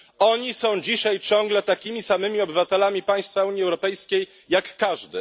Oni są dzisiaj ciągle takimi samymi obywatelami państwa Unii Europejskiej jak każdy.